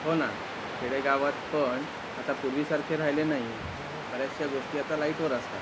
हो ना खेडे गावात पण आता पूर्वी सारखे राहिले नाही बऱ्याचश्या गोष्टी आता लाइट वर असतात.